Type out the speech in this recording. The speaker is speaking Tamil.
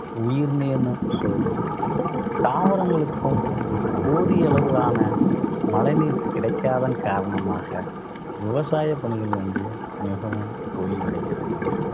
உயிர்நீன்னு சொல்றோம். தாவரங்களுக்கும் போதிய அளவிலான மழைநீர் கிடைக்காதன் காரணமாக விவசாய பணிகள் வந்து மிகவும் தொய்வடைகிறது